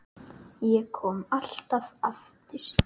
Ég kom alltaf aftur.